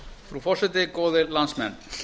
frú forseti góðir landsmenn